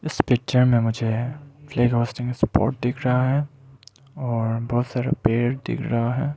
इस पिक्चर में मुझे सपोर्ट दिख रहा है और बहोत सारा पेड़ दिख रहा है।